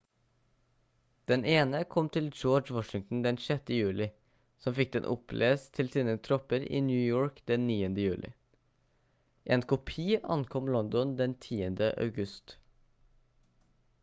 den ene kom til george washington den 6. juli som fikk den opplest til sine tropper i new york den 9. juli en kopi ankom london den 10. august